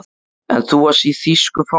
En þú varst í þýsku fangelsi